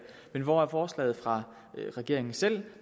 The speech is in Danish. men hvor er forslaget fra regeringen selv